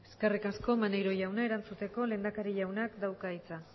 eskerrik asko maneiro jauna erantzuteko lehendakari jauna dauka hitza